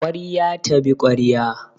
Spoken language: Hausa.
Ƙwarya ta bi ƙwarya.